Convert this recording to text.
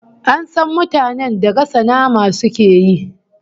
An san mutanen da gasa nama suke yi